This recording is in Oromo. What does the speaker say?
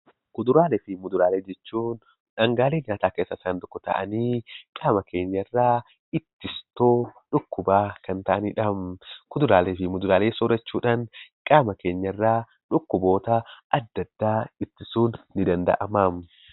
Kuduraalee fi muduraalee jechuun dhangaalee nyaataa keessaa tokko ta'anii qaama keenyarraa ittistuu dhukkubaa kan ta'anidha. Kuduraalee fi muduraalee soorachuudhaan qaama keenyarraa dhukkuboota adda addaa ittisuun ni danda'ama.